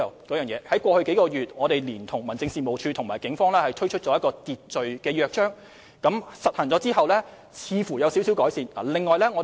過去數個月，我們聯同民政事務處和警方推行維持秩序的約章，約章實行之後，情況似乎有些改善。